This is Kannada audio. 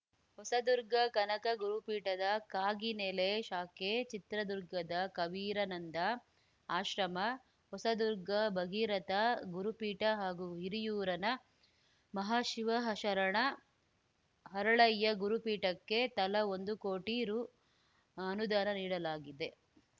ಹೊಸದುರ್ಗ ಕನಕ ಗುರುಪೀಠದ ಕಾಗಿನೆಲೆ ಶಾಖೆ ಚಿತ್ರದುರ್ಗದ ಕಬೀರಾನಂದ ಆಶ್ರಮ ಹೊಸದುರ್ಗ ಭಗೀರಥ ಗುರುಪೀಠ ಹಾಗೂ ಹಿರಿಯರಿನ ಮಹಾಶಿವಶರಣ ಹರಳಯ್ಯ ಗುರುಪೀಠಕ್ಕೆ ತಲಾ ಒಂದು ಕೋಟಿ ರು ಅನುದಾನ ನೀಡಲಾಗಿದೆ